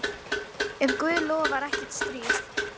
Ef Guð lofar kemur ekkert stríð.